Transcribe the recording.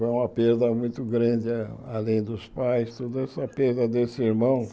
Foi uma perda muito grande, a além dos pais, toda essa perda desse irmão.